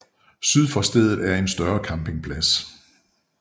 Syd for stedet er en større campingplads